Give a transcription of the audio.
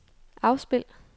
afspil